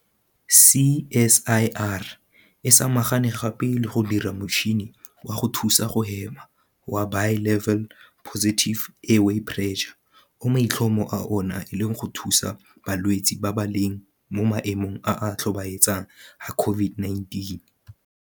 CSIR e samagane gape le go dira motšhini wa go thusa go hema wa Bi-level Positive Airway Pressure, BPAP, o maitlhomo a ona e leng go thusa balwetse ba ba leng mo maemong a a tlhobaetsang a COVID-19.